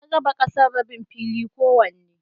An raba ƙasar rabin fili kowanne.